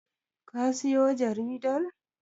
ka siyo jaridar?